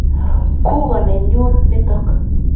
Kuko nenyun nitok .